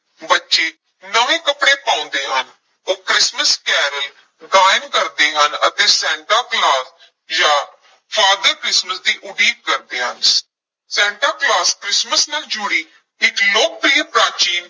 ਬੱਚੇ ਨਵੇਂ ਕੱਪੜੇ ਪਾਉਂਦੇ ਹਨ, ਉਹ ਕ੍ਰਿਸਮਿਸ ਕੈਰਲ ਗਾਇਨ ਕਰਦੇ ਹਨ ਅਤੇ ਸੈਂਟਾ ਕਲੌਸ ਜਾਂ father ਕ੍ਰਿਸਮਸ ਦੀ ਉਡੀਕ ਕਰਦੇ ਹਨ ਸੈਂਟਾ ਕਲੌਸ ਕ੍ਰਿਸਮਸ ਨਾਲ ਜੁੜੀ ਇੱਕ ਲੋਕਪ੍ਰਿਯ ਪ੍ਰਾਚੀਨ